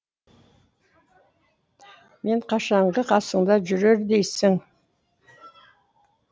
мен қашанғы қасыңда жүрер дейсің